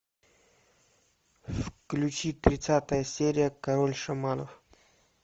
включи тридцатая серия король шаманов